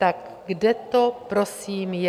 Tak kde to prosím je?